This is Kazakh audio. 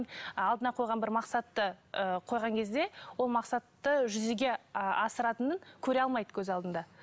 алдына қойған бір мақсатты ы қойған кезде ол мақсатты жүзеге ы асыратынын көре алмайды көз алдында